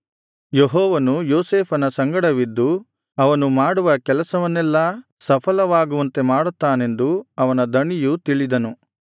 ಯೆಹೋವನು ಯೋಸೇಫನ ಸಂಡಗವಿದ್ದು ಅವನು ಮಾಡುವ ಕೆಲಸವನ್ನೆಲ್ಲಾ ಸಫಲವಾಗುವಂತೆ ಮಾಡುತ್ತಾನೆಂದು ಅವನ ದಣಿಯು ತಿಳಿದನು